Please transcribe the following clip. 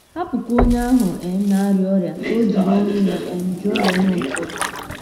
Hapụkwa onye ahụ um na - arịa ọrịa ka o jiri ọnụ um ya jụọ ya ihe ụfọdụ.